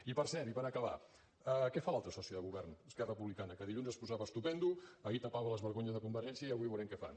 i per cert i per acabar què fa l’altre soci de govern esquerra republicana que dilluns es posava estupendo ahir tapava les vergonyes de convergència i avui veurem què fan